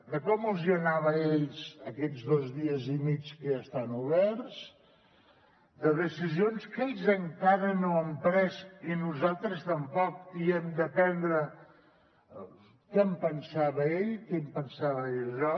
de com els hi anava a ells aquests dos dies i mig que ja estan oberts de decisions que ells encara no han pres i nosaltres tampoc i hem de prendre què en pensava ell què en pensava jo